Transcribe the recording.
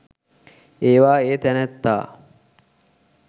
ඒවා ඒ තැනැත්තා